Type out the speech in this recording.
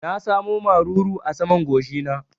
Na sa mu maruru a saman goshi na